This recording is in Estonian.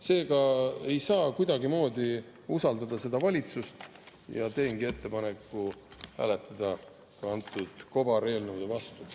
Seega ei saa kuidagimoodi usaldada seda valitsust ja ma teengi ettepaneku hääletada nende kobareelnõude vastu.